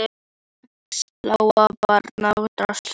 Sex blá barnsaugu störðu forviða á hann.